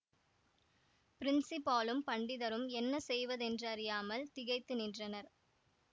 பிரின்ஸிபாலும் பண்டிதரும் என்ன செய்வதென்றறியாமல் திகைத்து நின்றனர்